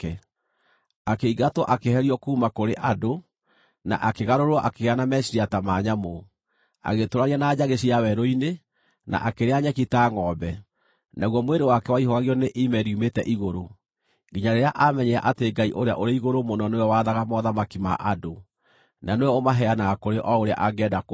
Akĩingatwo akĩeherio kuuma kũrĩ andũ, na akĩgarũrwo akĩgĩa na meciiria ta ma nyamũ, agĩtũũrania na njagĩ cia werũ-inĩ, na akĩrĩa nyeki ta ngʼombe; naguo mwĩrĩ wake waihũgagio nĩ ime riumĩte igũrũ, nginya rĩrĩa aamenyire atĩ Ngai-Ũrĩa-ũrĩ-Igũrũ-Mũno nĩwe wathaga mothamaki ma andũ, na nĩwe ũmaheanaga kũrĩ o ũrĩa angĩenda kũhe.